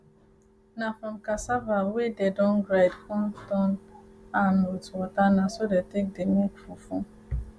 na from cassava wey dey don grind con turn am with water na so dey take dey make fufu